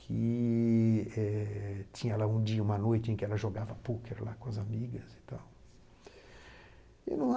que eh tinha lá um dia, uma noite, em que ela jogava pôquer lá com as amigas e tal.